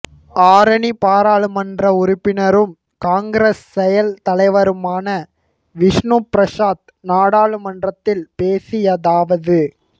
ஆரணி பாராளுமன்ற உறுப்பினரும் காங்கிரஸ் செயல் தலைவருமான விஷ்ணுபிரசாத் நாடாளுமன்றத்தில் பேசியதாவது